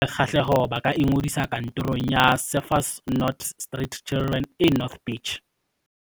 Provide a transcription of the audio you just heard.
Batho ba nang le kgahleho ba ka ingodisa Kantorong ya Surfers Not Street Children e North Beach.